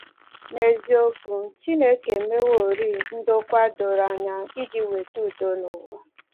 N’eziokwu, Chineke emeworị ndokwa doro anya iji weta udo n’ụwa